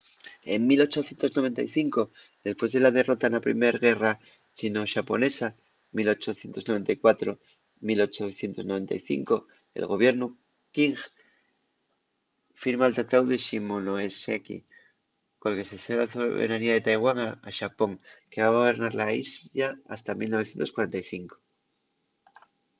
en 1895 depués de la derrota na primer guerra chino-xaponesa 1894-1895 el gobiernu quing firma’l tratáu de shimonoseki col que cede la soberanía de taiwán a xapón que va gobernar la islla hasta 1945